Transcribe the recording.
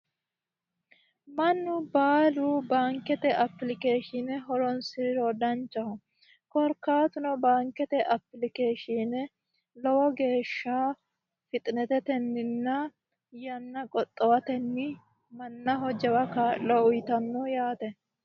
Mannu baalu baankete applikeeshine horoonsiriro danchaho, korkaatuno baankete applikeeshine yanna qoxxowatenni lowo kaa'lo uuyiitanno yaate.